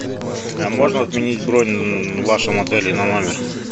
а можно отменить бронь в вашем отеле на номер